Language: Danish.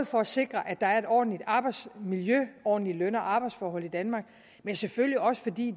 for at sikre at der er et ordentligt arbejdsmiljø ordentlige løn og arbejdsforhold i danmark men selvfølgelig også fordi